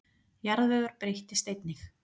Jarðvegur breyttist einnig.